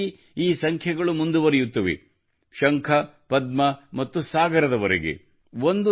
ಇದೇರೀತಿ ಈ ಸಂಖ್ಯೆಗಳು ಮುಂದುವರಿಯುತ್ತವೆ ಶಂಖ ಪದ್ಮ ಮತ್ತು ಸಾಗರದವರೆಗೆ